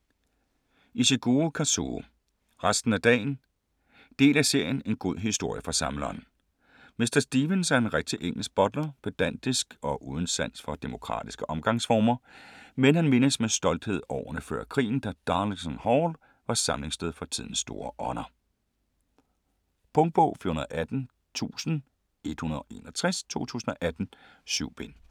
Ishiguro, Kazuo: Resten af dagen Del af serien En god historie fra Samleren. Mr. Stevens er en rigtig engelsk butler, pedantisk og uden sans for demokratiske omgangsformer, men han mindes med stolthed årene før krigen, da "Darlington Hall" var samlingssted for tidens store ånder. Punktbog 418161 2018. 7 bind.